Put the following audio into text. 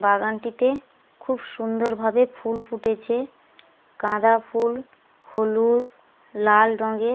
বাগানটিতে খুব সুন্দর ভাবে ফুল ফুটেছে গাঁদা ফুল হলুদ লাল রঙের।